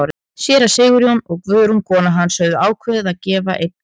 Séra Sigurjón og Guðrún kona hans höfðu ákveðið að gefa einn gluggann.